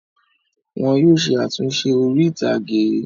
Wọn yóò ṣe àtúnṣe orí-ìtàgé.